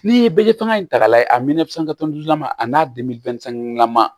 N'i ye bele tanga in ta k'a lajɛ a mɛn la a n'a lama